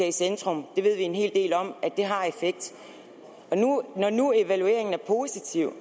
i centrum vi ved en hel del om at det har effekt og når nu evalueringen er positiv